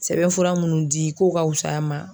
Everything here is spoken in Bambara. Sɛbɛn fura munnu di ko ka wusaya a ma.